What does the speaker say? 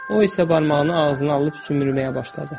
O isə barmağını ağzına alıb sümbürməyə başladı.